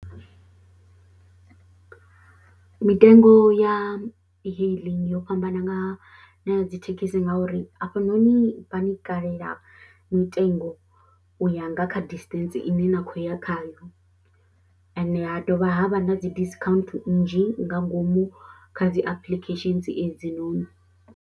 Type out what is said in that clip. Mitengo ya e-hailing yo fhambana nga na ya dzi thekhisi ngauri afhanoni vha ni kalela mitengo u ya nga kha distance ine na khou ya khayo, ende ha dovha havha na dzi discount nnzhi nga ngomu kha dzi applications edzinoni.